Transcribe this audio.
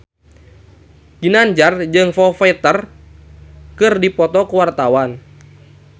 Ginanjar jeung Foo Fighter keur dipoto ku wartawan